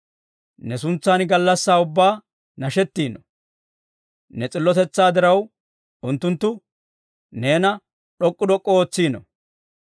Ne suntsan gallassaa ubbaa nashettiino; ne s'illotetsaa diraw, unttunttu neena d'ok'k'u d'ok'k'u ootsiino.